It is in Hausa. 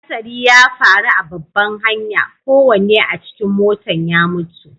Hasari ya faru a babban hanya, kowanne a cikin motan ya mutu.